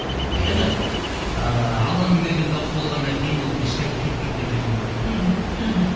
енді ыыы алланың берген дауысы болғаннан кейін ол ешқайда кетпейді деп өзім ойлаймын мхм мхм